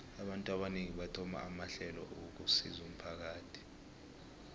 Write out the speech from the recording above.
abantu abanengi bathoma amahlelo wokusizo umphakathi